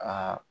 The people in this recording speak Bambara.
Aa